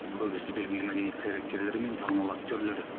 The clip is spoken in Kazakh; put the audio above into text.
көбісі белгілі мәдениет қайраткерлері мен танымал актерлер